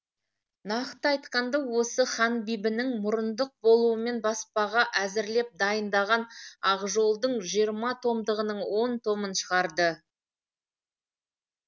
нақты айтқанда осы ханбибінің мұрындық болуымен баспаға әзірлеп дайындаған ақжол дың жиырма томдығының он томын шығарды